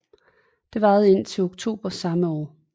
Den varede indtil oktober samme år